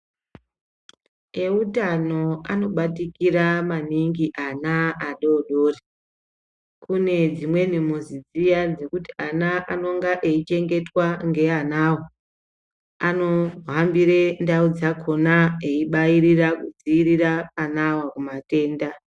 Eutano anobatikira maningi ana adodori kune dzimweni muzi dziya dzekuti ana anenge eichengetwa ngeanawo anohambire ndau dzakona eibairira kudzivirira anawo kumatenda.